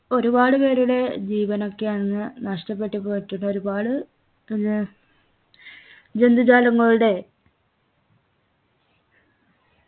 ഒരുപാട് പേരുടെ ജീവനൊക്കെ അന്ന് നഷ്ടപ്പെട്ടു പോയിട്ടുണ്ട് ഒരുപാട് ഏർ ജന്തുജാലങ്ങളുടെ